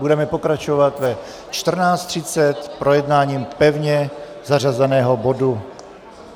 Budeme pokračovat ve 14.30 projednáním pevně zařazeného bodu.